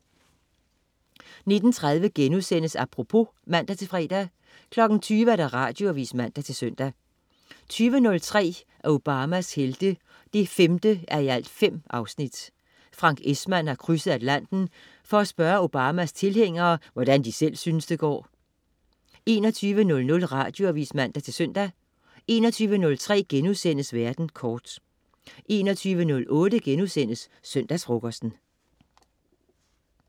19.30 Apropos* (man-fre) 20.00 Radioavis (man-søn) 20.03 Obamas Helte 5:5. Frank Esmann har krydset Atlanten for at spørge Obamas tilhængere, hvordan de selv syntes det går 21.00 Radioavis (man-søn) 21.03 Verden kort* 21.08 Søndagsfrokosten*